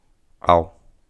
Av!